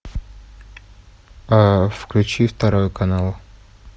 включи второй канал